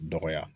Dɔgɔya